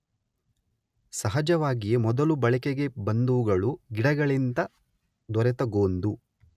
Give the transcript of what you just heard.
ಸಹಜವಾಗಿಯೇ ಮೊದಲು ಬಳಕೆಗೆ ಬಂದವುಗಳು ಗಿಡಗಳಿಂದ ದೊರೆತ ಗೋಂದು